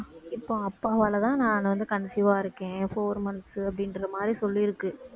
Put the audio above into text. இப்ப அப்பாவால தான் நான் வந்து conceive ஆ இருக்கேன் four months அப்படின்ற மாதிரி சொல்லிருக்கு